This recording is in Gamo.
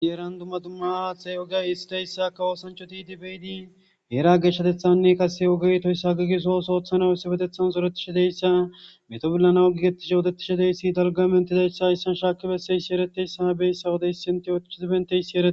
dieran dumma dumma txe ogay isteyssa kawoosancho tidibeydi geera geshshatethanne kase ogey toyss hagigeso soothana essebetethan soretishi deyssa meto billana agigeti sootetishadeyssi dalgamentidayssa issan shaaki besseysi ereteyssa bey sawodey sintiyotikizibenteysi ee